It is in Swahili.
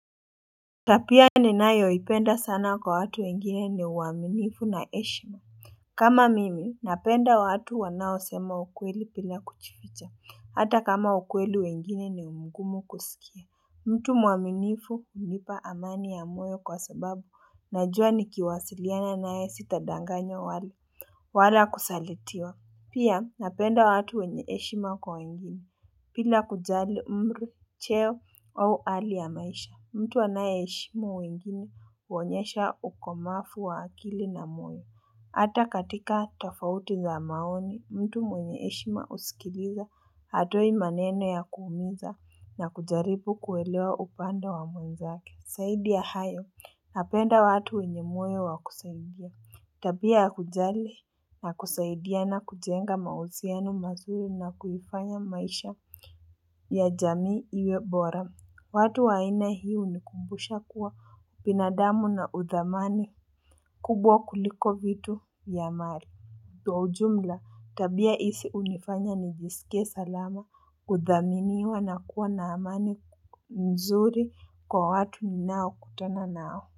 Tabia ninayoipenda sana kwa watu wengine ni uaminifu na heshima kama mimi napenda watu wanaosema ukweli bila kujiificha hata kama ukweli wengine ni mgumu kusikia. Mtu muaminifu hunipa amani ya moyo kwa sababu najua nikiwasiliana naye sitadanganywa wala wala kusalitiwa. Pia napenda watu wenye heshima kwa wengine bila kujali umri, cheo au hali ya maisha, mtu anayeheshimu wengine huonyesha ukomavu wa akili na moyo. Hata katika tofauti za maoni, mtu mwenye heshima husikiliza hatoi maneno ya kuumiza na kujaribu kuelewa upande wa mwenzake. Zaidi ya hayo, napenda watu wenye moyo wa kusaidia. Tabia ya kujali na kusaidia na kujenga mahusiano mazuri na kuifanya maisha ya jamii iwe bora. Watu wa aina hii hunikumbusha kuwa ubinadamu na udhamani kubwa kuliko vitu ya mali. Kwaa ujumla, tabia hizi hunifanya nijisikie salama kuthaminiwa na kuwa na amani mzuri kwa watu ninao kutana nao.